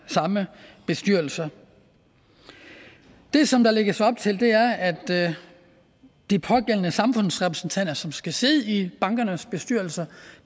samme bestyrelser det som der lægges op til er at de pågældende samfundsrepræsentanter som skal sidde i bankernes bestyrelser